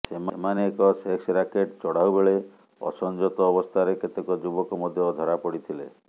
ସେମାନେ ଏକ sex racket ଚଢାଉ ବେଳେ ଅସଂଯତ ଅବସ୍ଥାରେ କେତେକ ଯୁବକ ମଧ୍ୟ ଧରାପଡିଥିଲେ